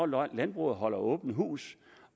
når landbruget holder åbent hus